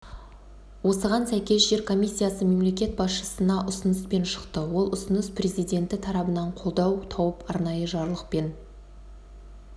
осыған сәйкес жер комиссиясы мемлекет басшысына ұсыныспен шықты ол ұсыныс президенті тарабынан қолдау тауып арнайы жарлықпен